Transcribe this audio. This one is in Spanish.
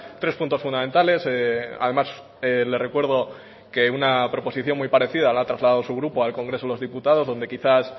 tres puntos fundamentales además le recuerdo que una proposición muy parecida la ha trasladado su grupo al congreso de los diputados donde quizás